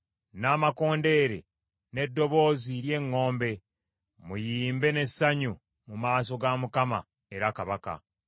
n’amakondeere n’eddoboozi ly’eŋŋombe. Muyimbe n’essanyu mu maaso ga Mukama era Kabaka.